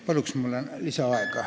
Palun mulle lisaaega!